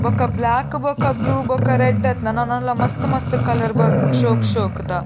ಬೊಕ ಬ್ಲಾಕ್ ಬೊಕ ಬ್ಲೂ ಬೊಕ ರೆಡ್ಡ್ ಅತ್ತ್ ನನ ನನಲ ಮಸ್ತ್ ಮಸ್ತ್ ಕಲರ್ ಬರ್ಪುಂಡು ಶೋಕ್ ಶೋಕುದ.